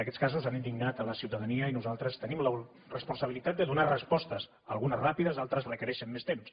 aquests casos han indignat la ciutadania i nosaltres tenim la responsabilitat de donar respostes algunes ràpides altres requereixen més temps